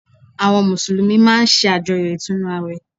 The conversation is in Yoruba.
Àwọn Mùsùlùmí máa n sàjọyọ̀ Ìtúnu àwẹ̀